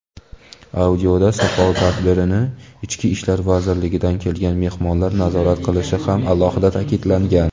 Audioda "Soqol" tadbirini Ichki ishlar vazirligidan kelgan "mehmonlar" nazorat qilishi ham alohida ta’kidlangan.